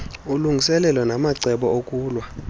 ulungiselelo namacebo okulwa